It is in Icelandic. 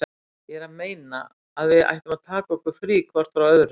Ég er að meina. að við ættum að taka okkur frí hvort frá öðru.